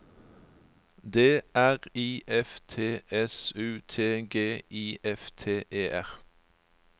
D R I F T S U T G I F T E R